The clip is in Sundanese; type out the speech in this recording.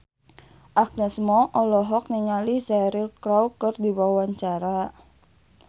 Agnes Mo olohok ningali Cheryl Crow keur diwawancara